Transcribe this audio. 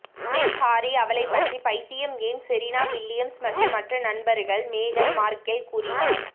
Prince Harry அவளை பற்றி பைத்தியம் ஏன் செரீனா வில்லியம்ஸ் மற்றும் மற்ற நண்பர்கள் மேகன் மார்கெல் கூறினார்